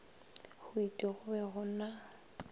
hwiti go be go na